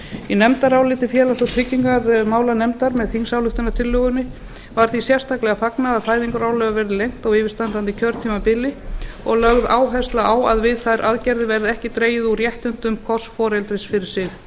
í nefndaráliti félags og tryggingamálanefndar með þingsályktunartillögunni var því sérstaklega fagnað að fæðingarorlofið verði lengt á yfirstandandi kjörtímabili og lögð áhersla á að við þær aðgerðir verði ekki dregið úr réttindum hvors foreldris fyrir sig ég